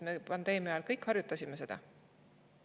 Me pandeemia ajal kõik harjutasime seda.